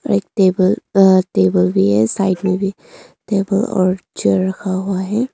और एक टेबल अह टेबल भी है साइड में भी टेबल और चेयर रखा हुआ है।